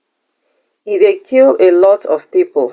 e dey kill a lot of pipo